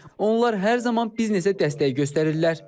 Onlar hər zaman biznesə dəstək göstərirlər.